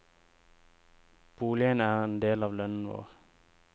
Boligen er en del av lønnen vår.